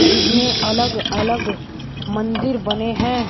जिसमें अलग अलग मंदिर बने हैं।